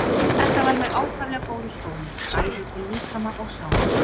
Þetta var mér ákaflega góður skóli bæði til líkama og sálar.